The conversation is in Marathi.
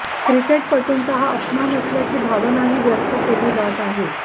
क्रिकेटपटूंचा हा अपमान असल्याची भावनही व्यक्त केली जात आहे